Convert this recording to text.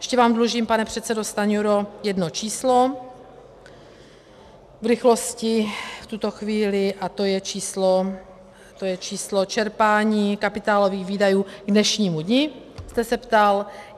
Ještě vám dlužím, pane předsedo Stanjuro, jedno číslo v rychlosti v tuto chvíli a to je číslo čerpání kapitálových výdajů k dnešnímu dni, jste se ptal.